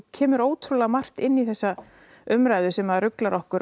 kemur ótrúlega margt inn í þessa umræðu sem ruglar okkur